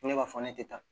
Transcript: Ko ne b'a fɔ ne tɛ taa